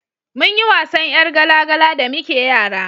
munyi wasan yar gala gala da muke yara